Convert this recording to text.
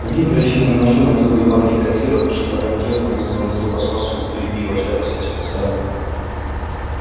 сергей перочинным ножом открыл две банки консервов и шикарным жестом выставил на стол пластмассовую бутыль пива очаковское специальное